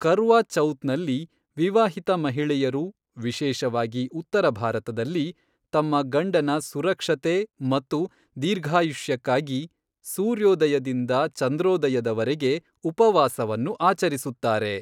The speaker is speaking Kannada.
ಕರ್ವಾ ಚೌತ್ನಲ್ಲಿ, ವಿವಾಹಿತ ಮಹಿಳೆಯರು, ವಿಶೇಷವಾಗಿ ಉತ್ತರ ಭಾರತದಲ್ಲಿ, ತಮ್ಮ ಗಂಡನ ಸುರಕ್ಷತೆ ಮತ್ತು ದೀರ್ಘಾಯುಷ್ಯಕ್ಕಾಗಿ ಸೂರ್ಯೋದಯದಿಂದ ಚಂದ್ರೋದಯದವರೆಗೆ ಉಪವಾಸವನ್ನು ಆಚರಿಸುತ್ತಾರೆ.